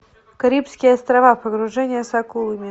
карибские острова погружение с акулами